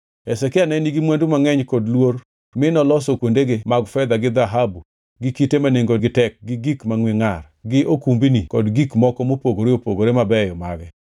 Hezekia ne nigi mwandu mangʼeny kod luor mi noloso kuondege mag fedha gi dhahabu gi kite ma nengogi tek gi gik mangʼwe ngʼar, gi okumbni kod gik moko mopogore opogore mabeyo mage.